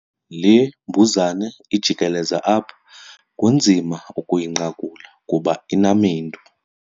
Le mbuzane ijikeleza apha kunzima ukuyinqakula kuba inamendu.